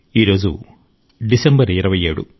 ఈ రోజు డిసెంబర్ 27